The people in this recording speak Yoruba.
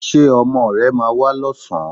Ṣé ọmọ rẹ máa wá lọ́sàn-án